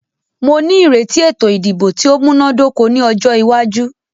Mó ní ìrètí ètò ìdìbò tí o múná dóko ní ọjọ́ iwájú.